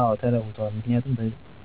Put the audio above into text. አወ ተለውጠዎል ምክንያቱም